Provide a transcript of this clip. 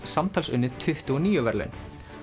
samtals unnið tuttugu og níu verðlaun